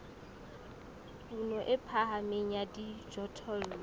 kuno e phahameng ya dijothollo